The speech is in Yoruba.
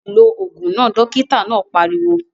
Lo ògùn náà! Dókítà náà pariwo